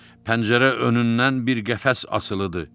Pəncərə önündən bir qəfəs asılıdır.